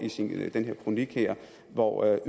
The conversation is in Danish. i den her kronik hvor jeg